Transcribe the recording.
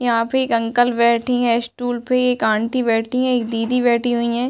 यहां पे एक अंकल बैठी हैं स्टूल पे एक आंटी बैठी है एक दीदी बैठी हुई है।